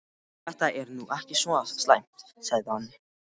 Þetta er nú ekki svo slæmt sagði hann.